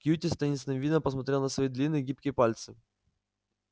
кьюти с таинственным видом посмотрел на свои длинные гибкие пальцы